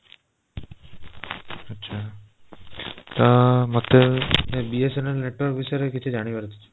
ଆଛା ତ ମତେ BSNL network ବିଷୟରେ କିଛି ଜାଣିବାର ଅଛି